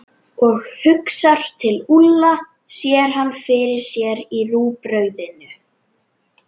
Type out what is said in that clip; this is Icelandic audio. Og hugsar til Úlla, sér hann fyrir sér í rúgbrauðinu.